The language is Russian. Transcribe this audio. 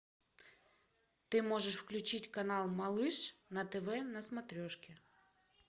ты можешь включить канал малыш на тв на смотрешке